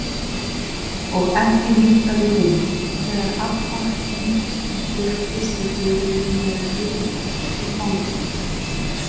Og ekki minnkaði hún þegar Abba hin birtist í dyrunum með Guðberg í fanginu.